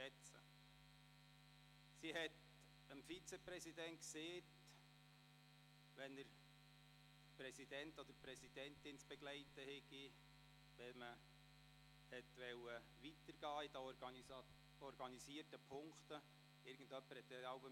Sie sagte dem Vizepräsidenten, wann er die Präsidentin oder den Präsidenten zu begleiten hat, wann man in den organisierten Punkten weitergehen sollte.